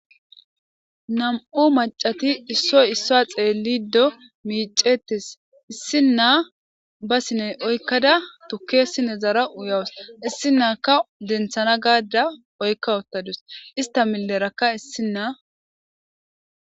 nam7u macati issoy issuwa xeellido miicettes issi nna ba sine oykkada tukkesine zara uyawus issi naaka denthana gaadda oykka ottadus ista milerakka issinna